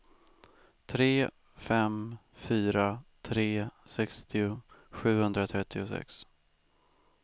tre fem fyra tre sextio sjuhundratrettiosex